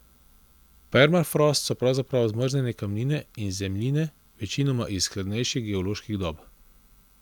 Permafrost so pravzaprav zmrznjene kamnine in zemljine, večinoma iz hladnejši geoloških dob.